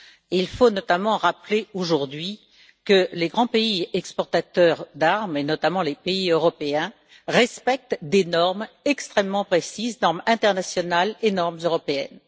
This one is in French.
Il faut notamment rappeler aujourd'hui que les grands pays exportateurs d'armes et notamment les pays européens respectent des normes extrêmement précises, normes internationales et normes européennes.